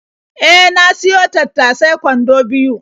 E, na siyo tattasai kwando biyo.